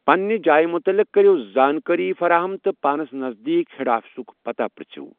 پنٕنہِ جاۓ مٖتعلق کرِیو زانكٲری فراہَم تہٕ پانس نزدیٖک ہیڈ آفسٕک پتاہ پرٛژھو۔